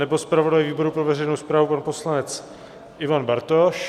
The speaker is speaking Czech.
Nebo zpravodaj výboru pro veřejnou správu, pan poslanec Ivan Bartoš?